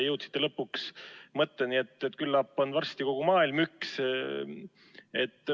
Jõudsite lõpuks mõtteni, et küllap on varsti kogu maailm üks.